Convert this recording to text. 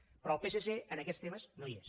però el psc en aquests temes no hi és